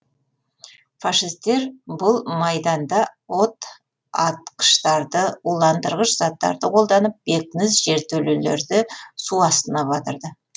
фашистер бұл майданда отатқыштарды уландырғыш заттарды қолданып бекініс жертөлелерді су астына батырды